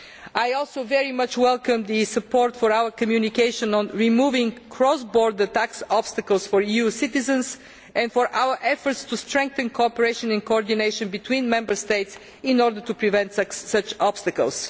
I also very much welcome the support for our communication on removing cross border tax obstacles for EU citizens and for our efforts to strengthen cooperation and coordination between Member States in order to prevent such obstacles.